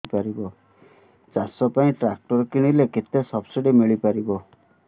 ଚାଷ ପାଇଁ ଟ୍ରାକ୍ଟର କିଣିଲେ କେତେ ସବ୍ସିଡି ମିଳିପାରିବ